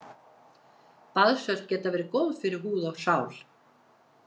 Baðsölt geta verið góð fyrir húð og sál.